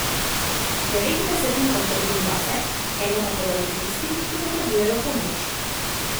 Devet desetin obdržim zase, eno pa podarim tistim, ki potrebujejo pomoč.